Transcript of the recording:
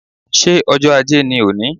Ṣé ọjọ́ Ajé ni òní?